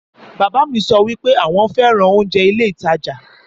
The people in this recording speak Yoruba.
Bàbá mi sọ wípé àwọn fẹ́ràn oúnjẹ ilé ìtajà